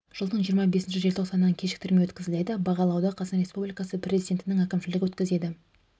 жылдың жиырма бесінші желтоқсанынан кешіктірілмей өткізіледі бағалауды қазақстан республикасы президентінің әкімшілігі өткізеді